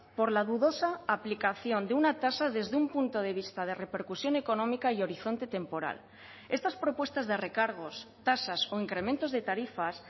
por la dudosa aplicación de una tasa desde un punto de vista de repercusión económica y horizonte temporal estas propuestas de recargos tasas o incrementos de tarifas